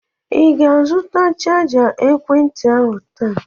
Ị ga-azụta chaja ekwentị ahụ taa?